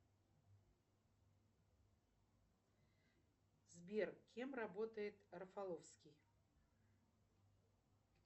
салют марафонское сражение это часть чего то